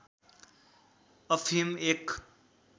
अफिम एक